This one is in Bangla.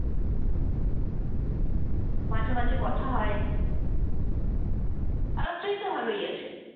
মাঝে মাঝে কথা হয়, আলাপচারিতা ভালই আছে ।